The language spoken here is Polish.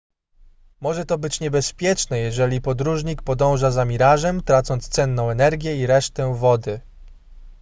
może to być niebezpieczne jeżeli podróżnik podąża za mirażem tracąc cenną energię i resztę wody